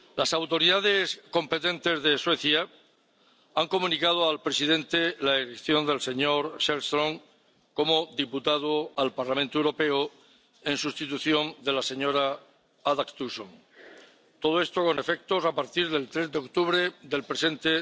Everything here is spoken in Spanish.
Las autoridades competentes de Suecia han comunicado al presidente la elección del señor Sellström como diputado al Parlamento Europeo en sustitución del señor Adaktusson, con efectos a partir del 3 de octubre del presente